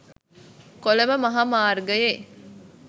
කොළඹ මහා මාර්ගයේ